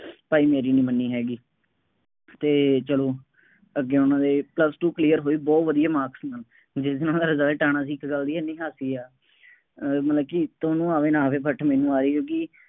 ਭਾਈ ਮੇਰੀ ਨਹੀਂ ਮੰਨੀ ਹੈਗੀ ਅਤੇ ਚੱਲੋ ਅੱਗੇ ਉਹਨਾ ਦੇ plus one ਹੋਈ, ਬਹੁਤ ਵਧੀਆ marks ਸੀ ਉਹਨਾ ਦੇ, ਜਿਸ ਦਿਨ ਉਹਨਾ ਦਾ result ਆਉਣਾ ਸੀ ਇੱਕ ਗੱਲ ਵਧੀਆ ਸੀ ਹਾਸੇ ਵਾਲੀ ਅਹ ਮਤਲਬ ਕਿ ਤੁਹਾਨੂੰ ਆਵੇ ਨਾ ਆਵੇ but ਮੈਨੂੰ ਆਈ ਕਿਉਂਕਿ